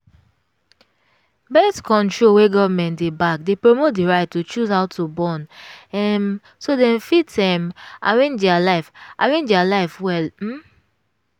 birth-control wey government dey back dey promote the right to choose how to born um so dem fit um arrange their life arrange their life well um